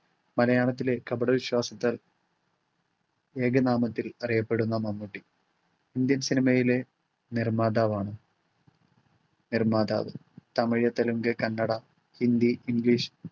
മലയാളത്തിലെ കപട വിശ്വാസത്താൽ ഏക നാമത്തിൽ അറിയപ്പെടുന്ന മമ്മൂട്ടി, ഇന്ത്യൻ സിനിമയിലെ നിർമ്മാതാവാണ്. നിർമ്മാതാവ് തമിഴ്, തെലുഗു, കന്നഡ, ഹിന്ദി, ഇംഗ്ലീഷ്